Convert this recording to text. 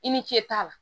I ni ce t'a la